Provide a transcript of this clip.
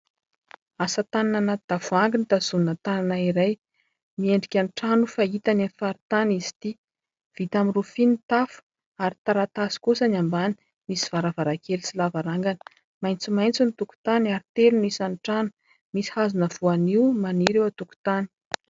Asa tanana tavoahangy no tazomina tanana iray. Miendrika ny trano fahitana any amin'ny faritany izy ity. Vita amin'ny rofia ny tafo ary taratasy kosa ny ambany, misy varavarankely sy lavarangana. Maitsomaitso ny tokotany ary telo ny isan'ny trano. Misy hazona voanio maniry eo an-tokotany.